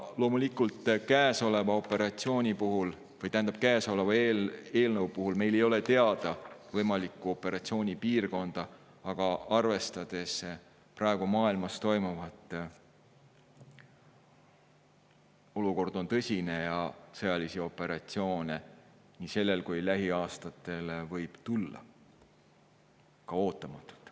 Loomulikult käesoleva eelnõu puhul meil ei ole teada võimalikku operatsioonipiirkonda, aga arvestades praegu maailmas toimuvat, võib öelda, et olukord on tõsine ja sõjalisi operatsioone nii sellel kui lähiaastatel võib tulla ka ootamatult.